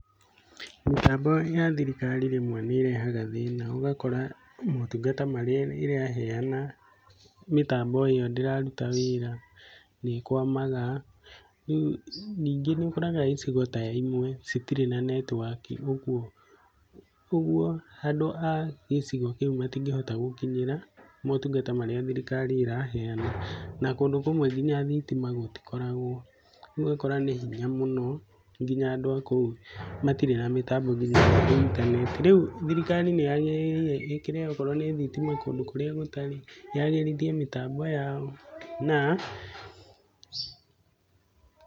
Mĩtambo ya thirikari rĩmwe nĩ ĩrehaga thĩna, ugakora motungata marĩa ĩraheana mĩtambo ĩyo ndĩraruta wĩra nĩkwamaga. Nĩngi ni ũkoraga ĩcigo ta ĩmwe cĩtĩre na netiwaki ogwo andũ aa gĩcĩgo kĩu matingĩhota gũkinyĩra motungata marĩa thirikari ĩraheana. Na kũndũ kũmwe ngĩnya thitima gũtikoragwo, ũgakora nĩ hinya mũno ngĩnya andũ akũu matĩre na mitambo ngĩnya intaneti, reu thirikari nĩyagirĩirwo ĩkĩre kowro nĩ thitima kũndũ kũria gutarĩ, yagĩrĩthie mitambo yao na....